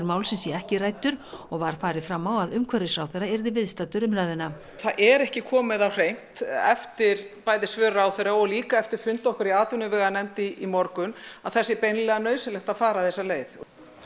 málsins sé ekki ræddur og var farið fram á að umhverfisráðherra yrði viðstaddur umræðuna það er ekki komið á hreint eftir bæði svör ráðherra og líka eftir fund okkar í atvinnuveganefnd í morgun að það sé beinlínis nauðsynlegt að fara þessa leið